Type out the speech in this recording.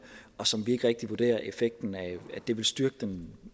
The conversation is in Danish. og som vi ikke rigtig vurderer vil styrke den